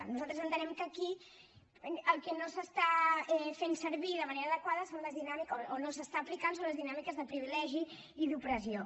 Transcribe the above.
nosaltres entenem que aquí el que no s’està fent servir de manera adequada o no s’està aplicant són les dinàmiques de privilegi i d’opressió